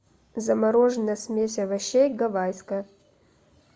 замороженная смесь овощей гавайская